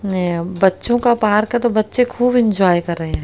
एं बच्चों का पार्क हैं तो बच्चे खूब एंजॉय कर रहे हैं।